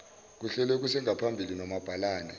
kuhlelwe kusengaphambili nomabhalane